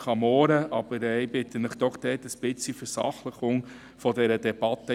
Ich bitte Sie jedoch um eine sachliche Debatte.